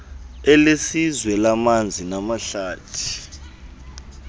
elesizwe lamanzi namahlathi